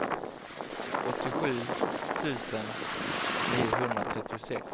åttiosju tusen niohundratrettiosex